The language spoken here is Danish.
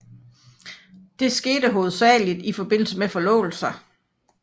Det skete hovedsageligt i forbindelse med forlovelser